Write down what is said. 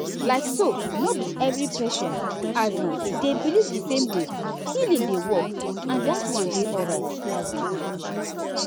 like so no be every patient um dey believe the same way healing dey work and that one dey alright. um